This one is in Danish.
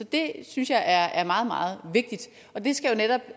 det synes jeg er meget meget vigtigt og det skal jo netop